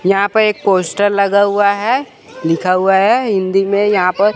यहां पे एक पोस्टर लगा हुआ है लिखा हुआ है हिंदी में यहां पर--